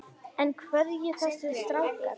En hverjir eru þessir strákar?